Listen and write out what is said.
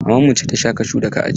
Maman mu ce ta sha kashun da ka ajiye.